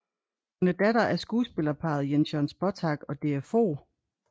Hun er datter af skuespillerparret Jens Jørn Spottag og Dea Fog